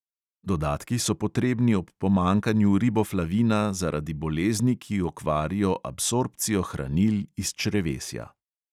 Dodatki so potrebni ob pomanjkanju riboflavina zaradi bolezni, ki okvarijo absorpcijo hranil iz črevesja.